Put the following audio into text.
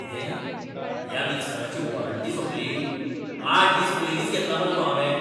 कितें? ह्या मिक्सराची वॉरंटी सोंपली? आठ दीस पयलींच घेतला मरे तो हांवें!